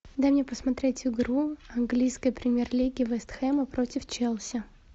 дай мне посмотреть игру английской премьер лиги вест хэма против челси